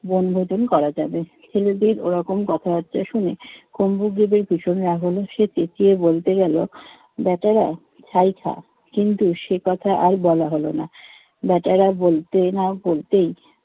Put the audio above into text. বনভোজন করা যাবে। ছেলেটির ওরকম কথাবার্তা শুনে কুম্ভগ্রিতের ভীষণ রাগ হলো। সে চেঁচিয়ে বলতে গেলো বেটারা ছাই খা। কিন্তু সে কথা আর বলা হলো না। বেটারা বলতে না বলতেই